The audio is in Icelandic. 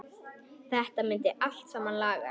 Þetta myndi allt saman lagast.